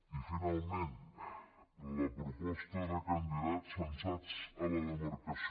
i finalment la proposta de candidats censats a la demarcació